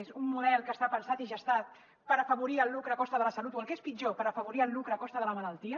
és un model que està pensat i gestat per afavorir el lucre a costa de la salut o el que és pitjor per afavorir el lucre a costa de la malaltia